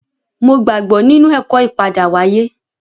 Mo gbàgbọ́ nínú ẹ̀kọ́ ìpadáwáyé